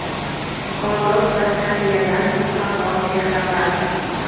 odob va tarbiyadan mutlaqo bexabar.